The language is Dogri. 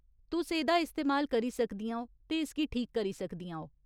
तुस एह्दा इस्तेमाल करी सकदियां ओ ते इसगी ठीक करी सकदियां ओ।